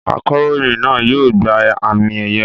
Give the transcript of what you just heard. Akọ̀ròyìn náà yóò gba àmì-ẹ̀yẹ.